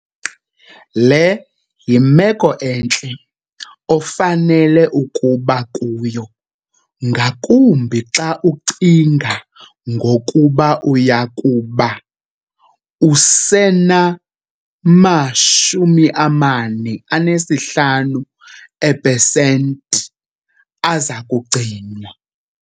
Le yimeko entle ofanele ukuba kuyo ngakumbi xa ucinga ngokuba uya kuba usenama-45 eepesenti aza kugcinwa.